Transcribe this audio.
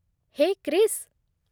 Hai, Krish!